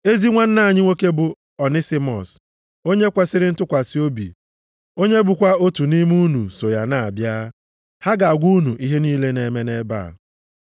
Ezi nwanna anyị nwoke bụ Onisimọs, onye kwesiri ntụkwasị obi, onye bụkwa otu nʼime unu, so ya na-abịa. Ha ga-agwa unu ihe niile na-eme nʼebe a.